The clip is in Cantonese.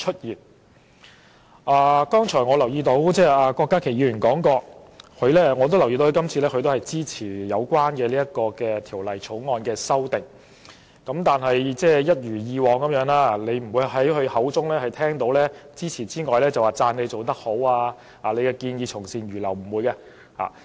我剛才聽郭家麒議員發言，留意到他也支持《條例草案》的修訂，但一如以往，我們不會從他口中聽到稱讚政府做得好、建議從善如流等說話。